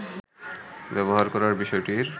ব্যবহার করার বিষয়টির